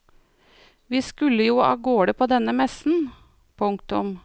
Vi skulle jo avgårde på denne messen. punktum